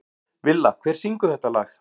Villa, hver syngur þetta lag?